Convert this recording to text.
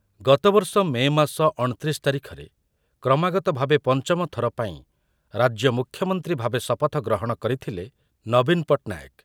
ଗତବର୍ଷ ମେ ମାସ ଅଣତିରିଶ ତାରିଖରେ କ୍ରମାଗତ ଭାବେ ପଞ୍ଚମଥର ପାଇଁ ରାଜ୍ୟ ମୁଖ୍ୟମନ୍ତ୍ରୀ ଭାବେ ଶପଥ ଗ୍ରହଣ କରିଥିଲେ ନବୀନ ପଟ୍ଟନାୟକ ।